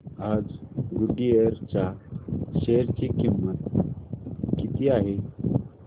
आज गुडइयर च्या शेअर ची किंमत किती आहे